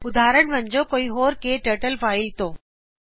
ਉਦਹਾਰਨ ਵਜੋਂ ਕੋਈ ਹੋਰ ਕੇ ਟਰਟਲ ਫਾਇਲ ਤੋੰ